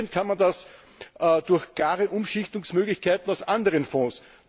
Finanzieren kann man das durch klare Umschichtungsmöglichkeiten aus anderen Fonds.